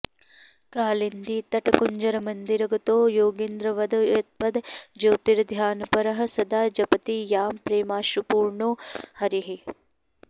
कालिन्दीतटकुञ्जरमन्दिरगतो योगीन्द्रवद् यत्पद ज्योतिर्ध्यानपरः सदा जपति यां प्रेमाश्रुपूर्णो हरिः